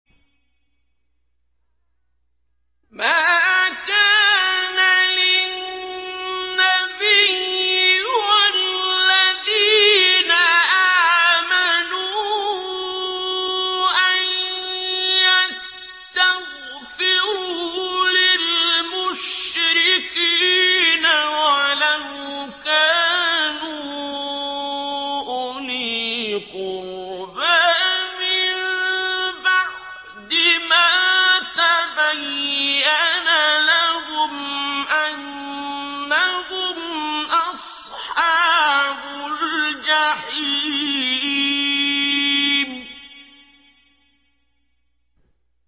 مَا كَانَ لِلنَّبِيِّ وَالَّذِينَ آمَنُوا أَن يَسْتَغْفِرُوا لِلْمُشْرِكِينَ وَلَوْ كَانُوا أُولِي قُرْبَىٰ مِن بَعْدِ مَا تَبَيَّنَ لَهُمْ أَنَّهُمْ أَصْحَابُ الْجَحِيمِ